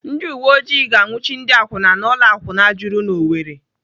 Ndị uwe oji ga-anwuchi ndị akwụna n'ụlọ akwụna juru n'Owerri.